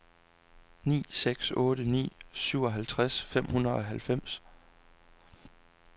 ni seks otte ni syvoghalvtreds fem hundrede og halvfems